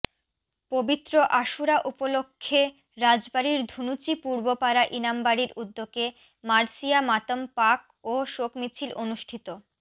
পবিত্র আশুরা উপলক্ষে রাজবাড়ীর ধুনচি পূর্বপাড়া ইমামবাড়ীর উদ্যোগে মার্সিয়া মাতম পাক ও শোক মিছিল অনুষ্ঠিত